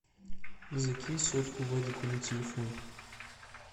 закинь сотку вадику на телефон